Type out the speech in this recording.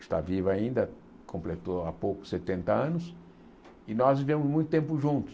está viva ainda, completou há pouco, setenta anos, e nós vivemos muito tempo juntos.